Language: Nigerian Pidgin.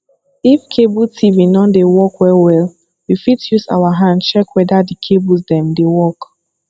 if cable tv non dey work well well we fit use our hand check weda di cables dem dey work